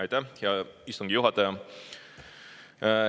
Aitäh, hea istungi juhataja!